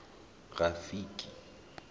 rafiki